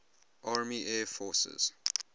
army air forces